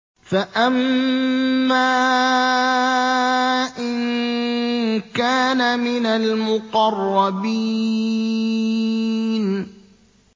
فَأَمَّا إِن كَانَ مِنَ الْمُقَرَّبِينَ